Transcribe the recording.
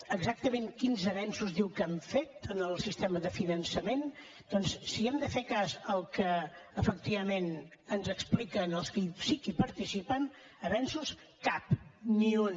exactament quins avenços diu que han fet en el sistema de finançament doncs si hem de fer cas del que efectivament ens expliquen els que sí que hi participen d’avenços cap ni un